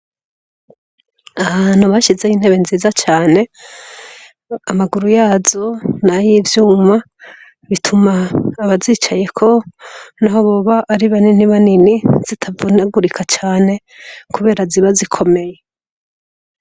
Ahantu bashizeho intebe nziza cane, amaguru yazo ni ay'ivyuma bituma abazicayeko naho boba ari baninibanini zitavunagurika cane kubera ziba gikomeye.